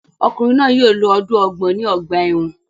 Ọkunrin náà yóò lo ọdun ọgbọ̀n ni ọgba ẹ́wọ̀n